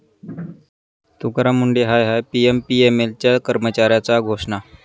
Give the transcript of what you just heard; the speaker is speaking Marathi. तुकाराम मुंढे हाय हाय', पीएमपीएमएलच्या कर्मचाऱ्याच्या घोषणा